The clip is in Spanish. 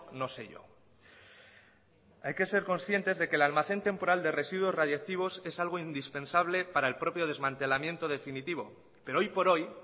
no sé yo hay que ser conscientes de que el almacén temporal de residuos radiactivos es algo indispensable para el propio desmantelamiento definitivo pero hoy por hoy